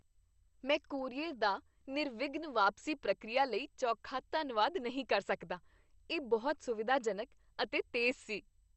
ਮੈਂ ਕੋਰੀਅਰ ਦਾ ਨਿਰਵਿਘਨ ਵਾਪਸੀ ਪ੍ਰਕਿਰਿਆ ਲਈ ਚੋਖਾ ਧੰਨਵਾਦ ਨਹੀਂ ਕਰ ਸਕਦਾ, ਇਹ ਬਹੁਤ ਸੁਵਿਧਾਜਨਕ ਅਤੇ ਤੇਜ਼ ਸੀ।